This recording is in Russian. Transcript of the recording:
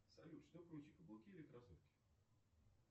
салют что круче каблуки или кроссовки